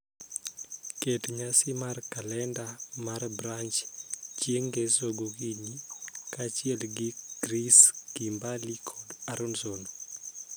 Ket nyasi mar kalenda mar Branch chieng' ngeso gokinyi kaachiel gi ChrissKimberly kod Aaronson